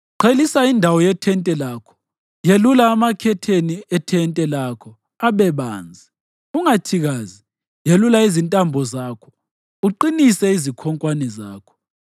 Qhelisa indawo yethente lakho, yelula amakhetheni ethente lakho abe banzi, ungathikazi, yelula izintambo zakho, uqinise izikhonkwane zakho.